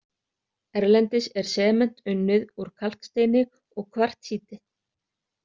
Erlendis er sement unnið úr kalksteini og kvartsíti.